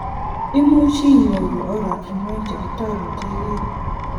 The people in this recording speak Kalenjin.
Imuch inyoru oratunwek chekitoretekei.